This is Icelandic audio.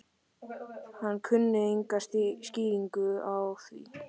Hann kunni enga skýringu á því.